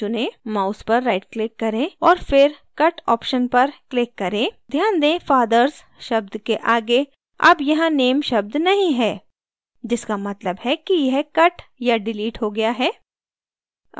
mouse पर right click करें और फिर cut option पर click करें ध्यान दें father sशब्द के आगे अब यहाँ name शब्द नहीं है जिसका मतलब है कि यह cut या डिलीट हो गया है